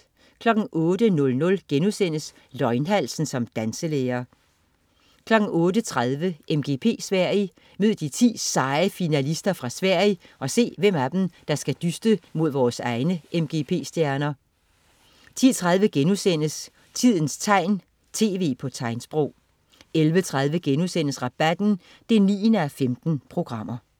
08.00 Løgnhalsen som danselærer* 08.30 MGP Sverige. Mød de 10 seje finalister fra Sverige og se, hvem af dem der skal dyste mod vores egne MGP-stjerner 10.30 Tidens tegn, tv på tegnsprog* 11.30 Rabatten 9:15*